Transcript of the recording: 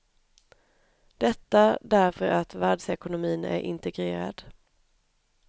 Detta därför att världsekonomin är integrerad.